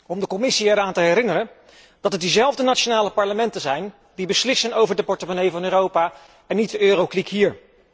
Om de Commissie eraan te herinneren dat het diezelfde nationale parlementen zijn die beslissen over de portemonnee van Europa en niet de Euro kliek hier.